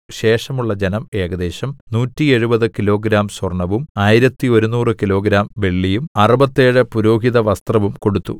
ശേഷമുള്ള ജനം ഏകദേശം 170 കിലോഗ്രാം സ്വര്‍ണവും 1100 കിലോഗ്രാം വെള്ളിയും അറുപത്തേഴ് പുരോഹിതവസ്ത്രവും കൊടുത്തു